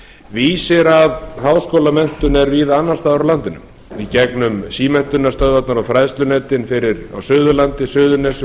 vísir að háskólamenntun er víða annars staðar á landinu í gegnum símenntunarstöðvarnar og fræðslunetin á suðurlandi suðurnesjum